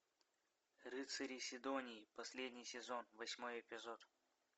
рыцари сидонии последний сезон восьмой эпизод